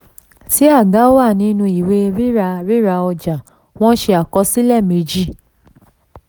tí aga wà nínú ìwé ríra ríra ọjà wọ́n ṣe àkọsílẹ méjì.